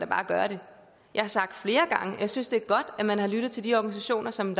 bare gøre det jeg har sagt flere gange at jeg synes det er godt at man har lyttet til de organisationer som